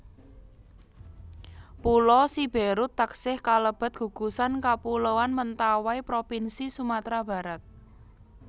Pulo Siberut taksih kalebet gugusan kapuloan Mentawai propinsi Sumatra Barat